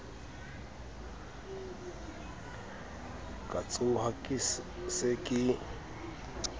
ka tshoha ke se ke